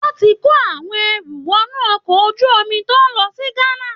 Wọn ti ń kó àwọn ẹrù wọnú ọkọ̀ ojú omi tó ń lọ sí Ghana